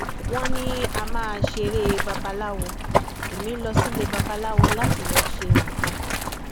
wọn ní á máa ṣeré babaláwo ẹmí lọ sílé babaláwo láti lọọ ṣe nǹkan